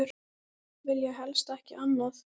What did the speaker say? Vilja helst ekki annað.